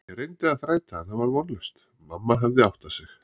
Ég reyndi að þræta en það var vonlaust, mamma hafði áttað sig.